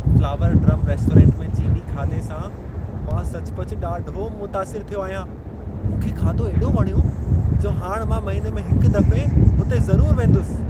Flower Drum restaurant में चीनी खाधे सां मां सचुपचु ॾाढो मुतासिरु थियो आहियां। मूंखे खाधो एॾो वणियो जो हाणि मां महिने में हिक दफ़े हुते ज़रूरु वेंदुसि।